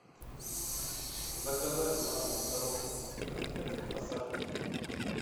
заказать на дом коробку конфет ассорти